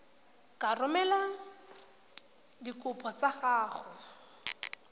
ka romela dikopo tsa gago